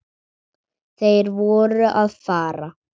Þeir voru að fara.